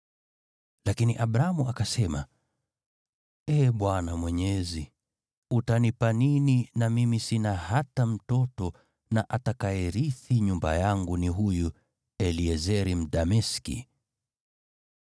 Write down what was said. Lakini Abramu akasema, “Ee Bwana Mwenyezi, utanipa nini na mimi sina hata mtoto na atakayerithi nyumba yangu ni huyu Eliezeri Mdameski?”